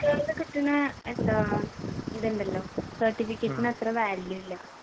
കിട്ടുന്ന എന്താ ഇതുണ്ടല്ലോ certificate ന് അത്ര value ഇല്ല